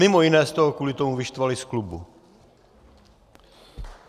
Mimo jiné jste ho kvůli tomu vyštvali z klubu.